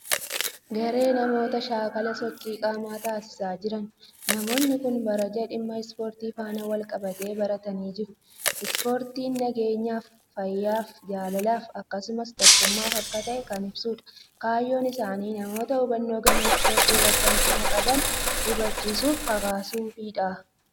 Garee namoota shaakala sochii qaamaa taasisaa jiran. Namoonni kun barjaa dhimma 'sport' faana wal-qabate baatanii jiru. Ispoortiin nageenyaaf, fayyaaf, jaalalaa fi akkasumas tokkummaaf akka ta'e kan ibsudha. Kaayyoon isaanii namoota hubannoo gama Ispoortii irratti hanqina qaban hubachiisuufi kakaasuufidha.